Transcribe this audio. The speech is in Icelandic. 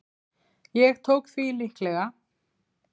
Ég tók því líklega.